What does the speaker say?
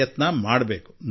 ಪ್ರಯತ್ನ ಮಾಡಬೇಕು ಎಂದು